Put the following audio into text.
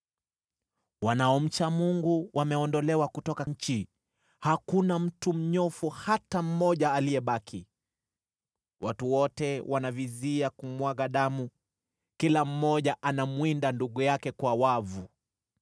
Wanaomcha Mungu wameondolewa kutoka nchi; hakuna mtu mnyofu hata mmoja aliyebaki. Watu wote wanavizia kumwaga damu, kila mmoja anamwinda ndugu yake kwa wavu.